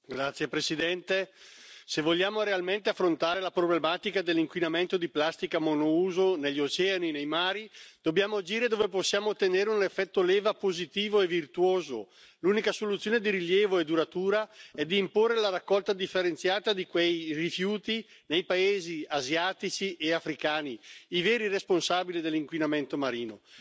Signor Presidente, onorevoli colleghi, se vogliamo realmente affrontare la problematica dell'inquinamento da plastica monouso negli oceani e nei mari, dobbiamo agire dove possiamo ottenere un effetto leva positivo e virtuoso. L'unica soluzione di rilievo e duratura è di imporre la raccolta differenziata di quei rifiuti nei paesi asiatici e africani, i veri responsabili dell'inquinamento marino.